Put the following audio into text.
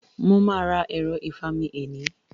Mo máà ra ẹ̀ro ìfami eni